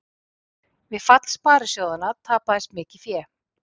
Við fall sparisjóðanna tapaðist mikið fé